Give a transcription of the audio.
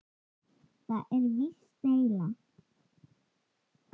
Þetta er víst della.